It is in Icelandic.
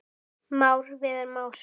Már Viðar Másson.